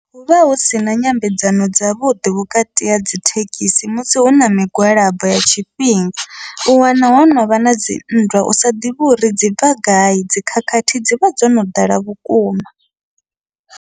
Huvha husina nyambedzano dzavhuḓi vhukati ha dzithekhisi musi huna migwalabo ya tshifhinga, u wana ho novha nadzi nndwa usa ḓivhi uri dzi bva gai dzikhakhathi dzivha dzono ḓala vhukuma.